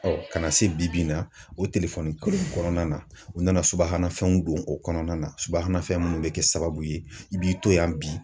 ka na se bi ma o kɔnɔna na u nana subahana fɛnw don o kɔnɔna na subahana fɛn minnu bɛ kɛ sababu ye i b'i to yan bi.